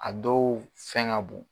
A dɔw fɛn ŋa bon